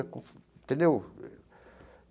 Entendeu?